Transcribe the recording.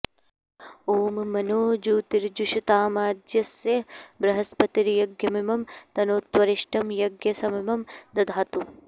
ॐ मनो जूतिर्जुषतामाज्यस्य बृहस्पतिर्यज्ञमिमं तनोत्वरिष्टं यज्ञ ँ समिमं दधातु